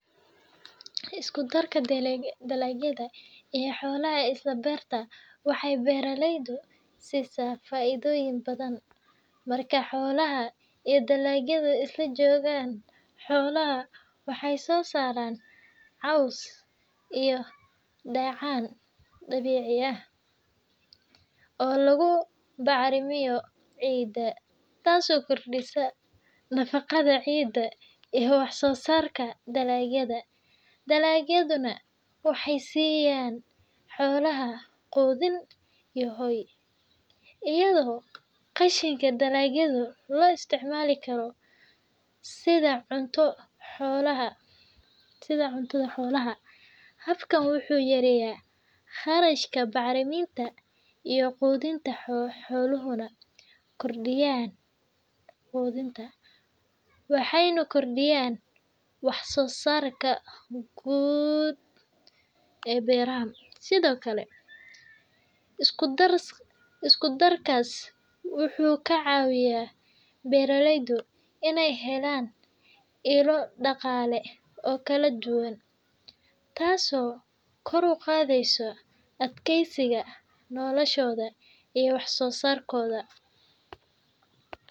Isku darka dalagyada iyo xoolaha ee isla beerta waxay beeralayda siisaa faa’iidooyin badan. Marka xoolaha iyo dalagyadu isla joogaan, xoolaha waxay soo saaraan caws iyo dheecaan dabiici ah oo lagu bacrimiyo ciidda, taasoo kordhisa nafaqada ciidda iyo wax-soo-saarka dalagyada. Dalagyaduna waxay siiyaan xoolaha quudin iyo hoy, iyadoo qashinka dalagyada loo isticmaali karo sida cunto xoolaha. Habkan wuxuu yareeyaa kharashka bacriminta iyo quudinta, wuxuuna kordhiyaa wax soo saarka guud ee beeraha. Sidoo kale, isku darkaas wuxuu ka caawiyaa beeralayda inay helaan ilo dhaqaale oo kala duwan, taasoo kor u qaadaysa adkeysiga noloshooda iyo wax soo saarkooda.